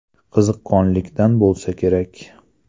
Qiziqqonlikdan bo‘lsa kerak.